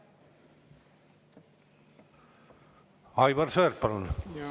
Aivar Sõerd, palun!